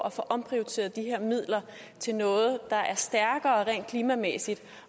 at få omprioriteret de her midler til noget der er stærkere rent klimamæssigt